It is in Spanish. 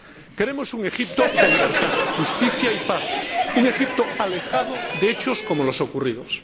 Queremos un Egipto de libertad, justicia y paz, un Egipto alejado de hechos como los ocurridos.